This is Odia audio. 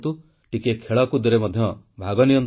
ଟିକିଏ ଖେଳକୁଦରେ ମଧ୍ୟ ଭାଗ ନିଅନ୍ତୁ